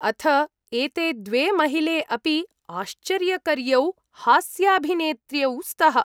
अथ एते द्वे महिले अपि आश्चर्यकर्यौ हास्याभिनेत्र्यौ स्तः।